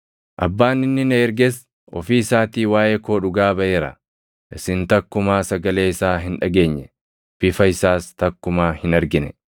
Abbaan inni na erges ofii isaatii waaʼee koo dhugaa baʼeera. Isin takkumaa sagalee isaa hin dhageenye; bifa isaas takkumaa hin argine.